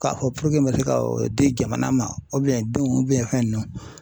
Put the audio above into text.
K'a fɔ me se ka o di jamana ma denw fɛn ninnu